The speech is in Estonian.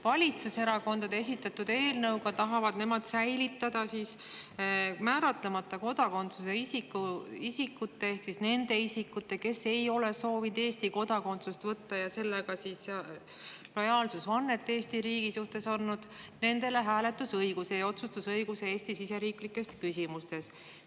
Valitsuserakondade esitatud eelnõu kohaselt tahavad nad säilitada määratlemata kodakondsusega isikutele ehk siis nendele isikutele, kes ei ole soovinud Eesti kodakondsust võtta ja sellega lojaalsusvannet Eesti riigile anda, hääletusõiguse ja otsustusõiguse Eesti siseriiklikes küsimustes.